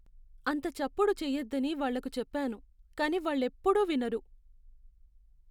అంత చప్పుడు చెయ్యొద్దని వాళ్లకు చెప్పాను, కానీ వాళ్లెప్పుడూ వినరు.